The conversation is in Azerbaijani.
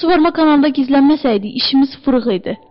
Qaçıb suvarmə kanalında gizlənməsəydi, işimiz fırıx idi.